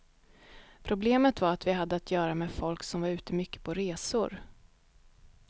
Problemet var att vi hade att göra med folk som var ute mycket på resor.